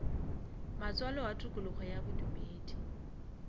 matswalo a tokologo ya bodumedi